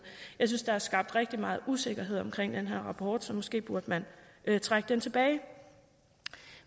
jeg synes der er skabt rigtig meget usikkerhed omkring den her rapport så måske burde man trække den tilbage